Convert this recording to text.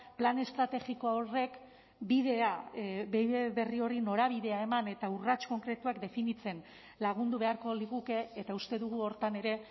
plan estrategiko horrek bidea bide berri horri norabidea eman eta urrats konkretuak definitzen lagundu beharko liguke eta uste dugu horretan ere